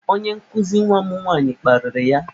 Onye nkụzi nwa m nwaanyị kparịrị ya.